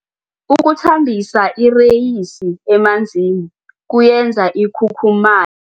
Ukuthambisa ireyisi emanzini kuyenza ikhukhuma